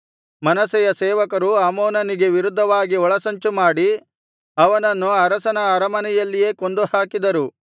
ಮನಸ್ಸೆಯ ಸೇವಕರು ಆಮೋನನಿಗೆ ವಿರುದ್ಧವಾಗಿ ಒಳಸಂಚು ಮಾಡಿ ಅವನನ್ನು ಅರಸನ ಅರಮನೆಯಲ್ಲಿಯೇ ಕೊಂದುಹಾಕಿದರು